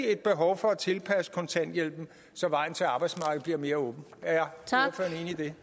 et behov for at tilpasse kontanthjælpen så vejen til arbejdsmarkedet bliver mere åben er